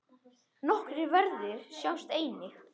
Nokkrir verðir sjást einnig.